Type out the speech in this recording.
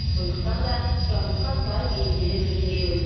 сондықтан да сұранысқа сай бейімделе білген жөн